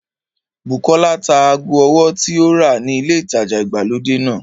Bùkọ́lá ta ago ọwọ́ tí ó rà ni ilé ìtajà ìgbàlódé náà